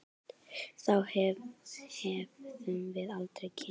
Þá hefðum við aldrei kynnst